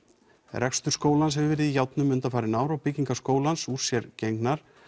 rekstur skólans hefur verið í járnum undanfarin ár og byggingar skólans úr sér gengnar